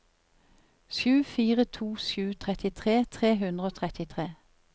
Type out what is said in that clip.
sju fire to sju trettitre tre hundre og trettitre